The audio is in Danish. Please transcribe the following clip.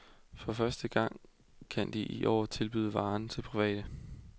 For første gang kan de i år tilbyde varen til private.